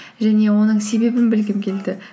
және оның себебін білгім келді